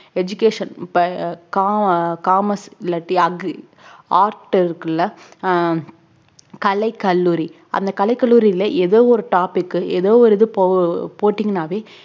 education இப்ப அஹ் co~ commerce இல்லாட்டி agri art இருக்கில்ல ஆஹ் கலைக் கல்லூரி அந்த கலைக் கல்லூரியில ஏதோ ஒரு topic ஏதோ ஒரு இது போ~ போட்டிங்கனாவே